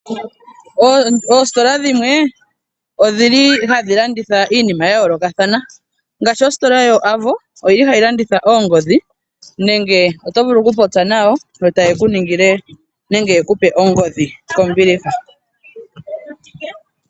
Oositola dhimwe odhili hadhi landitha iinima ya yoolokathana. Ngaashi ositola yo AVO oyili hayi landitha oongodhi. Nenge oto vulu oku popya nayo, yo taye ku ningile nenge yeku pe ongodhi kombiliha.